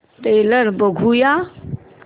trailer बघूया